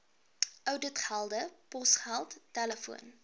ouditgelde posgeld telefoon